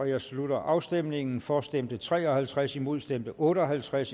jeg slutter afstemningen for stemte tre og halvtreds imod stemte otte og halvtreds